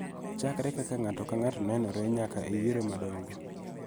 Chakre kaka ng�ato ka ng�ato nenore nyaka e yiero madongo.